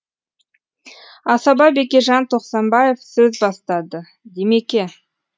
асаба бекежан тоқсанбаев сөз бастады димеке